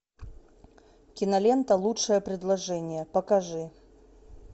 кинолента лучшее предложение покажи